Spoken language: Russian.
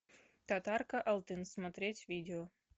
татарка алтын смотреть видео